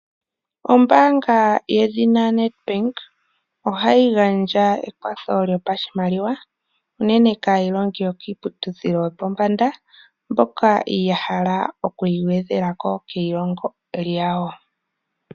Ombaanga yedhina Nedbank ohayi gandja ekwatho lyopashimaliwa unene kaayilongi yokiiputudhilo yopombanda mboka ya hala oku igwedhela ko keilongo lyawo.